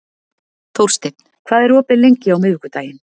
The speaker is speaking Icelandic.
Þórsteinn, hvað er opið lengi á miðvikudaginn?